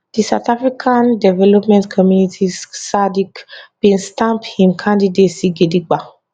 di southern african development community sadc bin stamp im candidacy gidiba